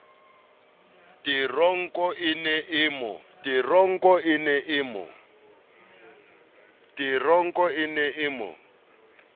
teronko e ne e mo